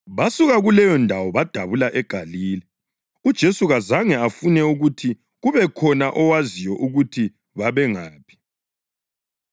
Basuka kuleyondawo badabula eGalile. UJesu kazange afune ukuthi kube khona owaziyo ukuthi babengaphi,